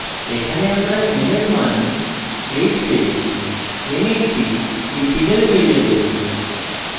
এখানে আমরা n এর মান 8 দেই n একটি integer ভ্যারিয়েবল